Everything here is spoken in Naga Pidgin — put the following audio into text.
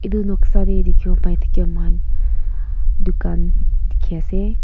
etu noksa teh dikhibo pai thake moikhan dukan dikhi ase.